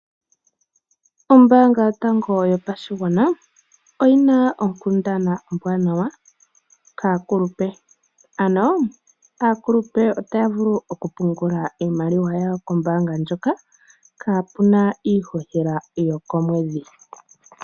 Ombaanga yotango yopashigwana, oyi na onkundana ombwanawa kaakulepe. Aakulupe ota ya vulu okupungula iimaliwa ya wo kombaanga ndjoka, kaapuna iihohela yasha.